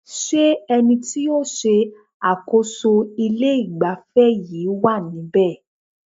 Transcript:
Ṣé ẹni tí o ń ṣe àkóso ilé ìgbafẹ́ yìí wá níbe?